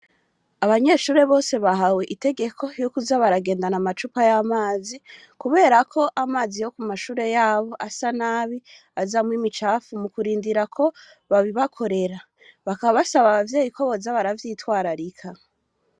Abanyeshure bose bahawe itegeko yukuza baragendana amacupa y'amazi, kubera ko amazi yo ku mashure yabo asa nabi azamwimicafu mu kurindira ko babibakorera bakabasaba abavyeyi ko boza baravyitwararika.